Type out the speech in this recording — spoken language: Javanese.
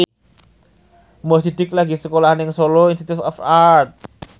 Mo Sidik lagi sekolah nang Solo Institute of Art